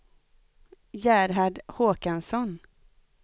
Gerhard Håkansson